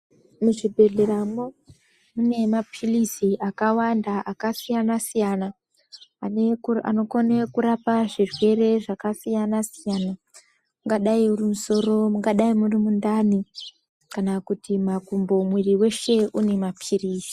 Muzvibhedhleramwo mune mapirizi akawanda akasiyana siyana anokone kurapa zvirwere zvakasiyana siyana ungadai uri musoro mungadai murimundani kana kuti makumbo mwiri weshe une mapirizi.